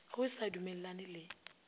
ge o sa dumellane le